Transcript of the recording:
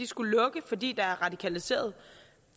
skulle lukke fordi der er radikaliserede